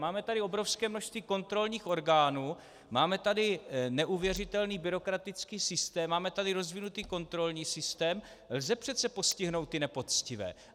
Máme tady obrovské množství kontrolních orgánů, máme tu neuvěřitelný byrokratický systém, máme tady rozvinutý kontrolní systém, lze přece postihnout ty nepoctivé.